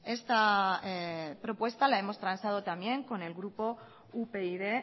esta propuesta la hemos transado también con el grupo upyd